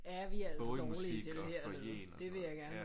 Både i musik og foyeren og sådan noget